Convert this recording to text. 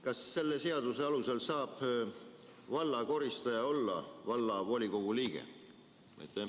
Kas selle seaduse alusel saab valla koristaja olla vallavolikogu liige?